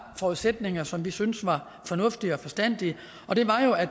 forudsætninger som vi syntes var fornuftige og forstandige og det var jo at